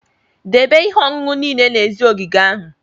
Debe ihe ọṅụṅụ niile n'èzí ogige ahụ!